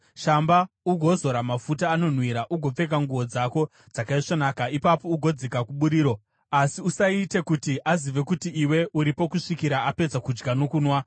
Shamba ugozora mafuta anonhuhwira, ugopfeka nguo dzako dzakaisvonaka. Ipapo ugodzika kuburiro, asi usaite kuti azive kuti iwe uripo kusvikira apedza kudya nokunwa.